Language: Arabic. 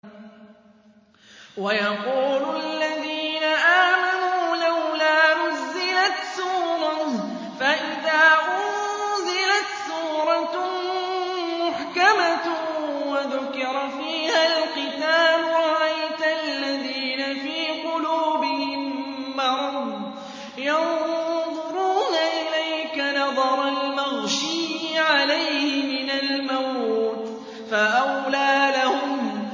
وَيَقُولُ الَّذِينَ آمَنُوا لَوْلَا نُزِّلَتْ سُورَةٌ ۖ فَإِذَا أُنزِلَتْ سُورَةٌ مُّحْكَمَةٌ وَذُكِرَ فِيهَا الْقِتَالُ ۙ رَأَيْتَ الَّذِينَ فِي قُلُوبِهِم مَّرَضٌ يَنظُرُونَ إِلَيْكَ نَظَرَ الْمَغْشِيِّ عَلَيْهِ مِنَ الْمَوْتِ ۖ فَأَوْلَىٰ لَهُمْ